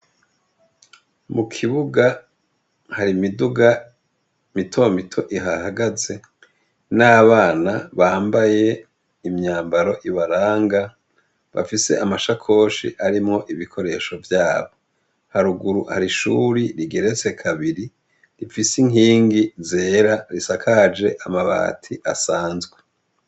Mu ikibuga, hari imiduga mitomito ihahagaze n'abana bambaye imyambaro ibaranga, bafise amasakoshi arimwo ibikoresho vyabi. Haruguru har'ishure rigeretse kabiri rifise inkingi zera zisakaje amabati asanzwe.